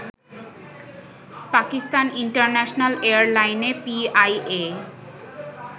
Pakistan international এয়ারলাইনে PIA